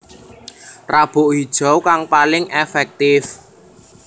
Rabuk Hijau kang paling èfèktif